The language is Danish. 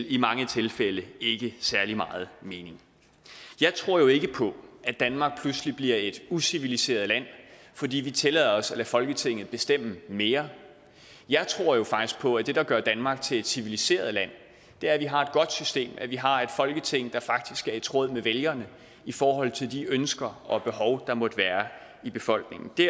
i mange tilfælde ikke særlig meget mening jeg tror jo ikke på at danmark pludselig bliver et uciviliseret land fordi vi tillader os at lade folketinget bestemme mere jeg tror faktisk på at det der gør danmark til et civiliseret land er at vi har et godt system at vi har et folketing der faktisk er i tråd med vælgerne i forhold til de ønsker og behov der måtte være i befolkningen det